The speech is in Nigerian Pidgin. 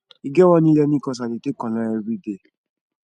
e get one elearning course i dey take online everyday